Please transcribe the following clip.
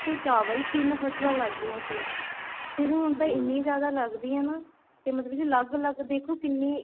ਤੇ ਚਾਵਲ ਤਿੰਨ ਫੱਸਲਾਂ ਲੱਗਦੀਆਂ ਸੀ ਤੇ ਹੁਣ ਐਨੀਆਂ ਜਿਆਦਾ ਲੱਗਦੀਆਂ ਤੇ ਮਤਲਬ ਅਲੱਗ ਅਲੱਗ ਦੇਖੋ ਕਿੰਨੀ